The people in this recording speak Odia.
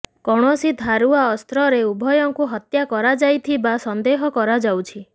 କୌଣସି ଧାରୁଆ ଅସ୍ତ୍ରରେ ଉଭୟଙ୍କୁ ହତ୍ୟା କରାଯାଇଥିବା ସନ୍ଦେହ କରାଯାଉଛି